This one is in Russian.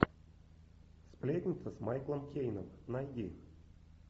сплетница с майклом кейном найди